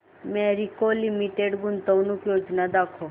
Marico limited गुंतवणूक योजना दाखव